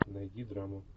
найди драму